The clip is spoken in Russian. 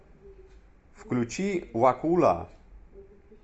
включи вакула